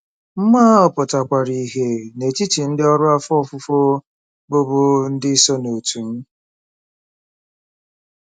Mmụọ ahụ pụtakwara ìhè n'etiti ndị ọrụ afọ ofufo bụ́ bụ́ ndị so n'òtù m.